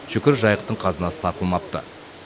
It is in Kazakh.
шүкір жайықтың қазынасы тартылмапты